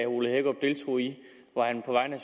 ole hækkerup deltog i hvor han på vegne